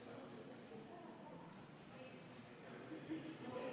Austatud kolleegid!